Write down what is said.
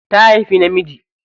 Ta haifi namiji.